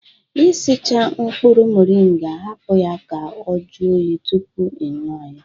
Ị sicha mkpụrụ moringa, hapụ ya ka ọ jụọ oyi tụpụ ị nwụọ ya